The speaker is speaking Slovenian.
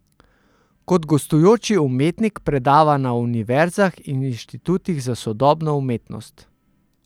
Kot gostujoči umetnik predava na univerzah in inštitutih za sodobno umetnost.